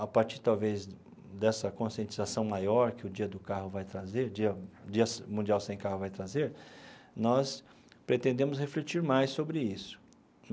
a partir, talvez, dessa conscientização maior que o dia do carro vai trazer dia Dia Mundial Sem Carro vai trazer, nós pretendemos refletir mais sobre isso.